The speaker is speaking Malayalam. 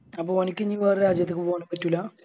അപ്പൊ ഓനിക്ക് ഇനി വേറെ രാജ്യത്ത് പോകാൻ പറ്റൂല